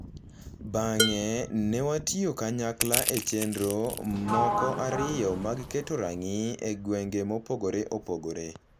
Bang’e ne watiyo kanyakla e chenro moko ariyo mag keto rangi e gwenge mopogore opogore